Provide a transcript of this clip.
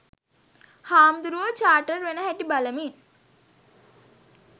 හාමුදුරුවෝ චාටර් වෙන හැටි බලමින්